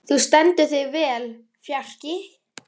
Þú stendur þig vel, Fjarki!